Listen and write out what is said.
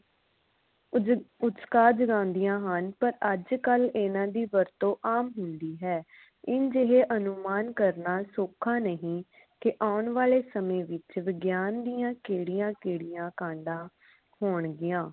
ਕੁਝ ਕੁਝ ਕਾਰਜ ਹੁੰਦੀਆਂ ਹਨ ਪਰ ਅੱਜ ਕਲ ਇਨ੍ਹਾਂ ਦੀ ਵਰਤੋਂ ਆਮ ਹੁੰਦੀ ਹੈ ਇੰਝ ਲਈ ਅਨੁਮਾਨ ਕਰਨਾ ਸੋਖਾ ਨਹੀਂ ਕਿ ਆਉਣ ਵਾਲੇ ਸਮੇ ਵਿਚ ਵਿਗਿਆਨ ਦੀਆ ਕਿਹੜੀਆਂ ਕਿਹੜੀਆਂ ਕਾਂਡਾ ਹੋਣਗੀਆਂ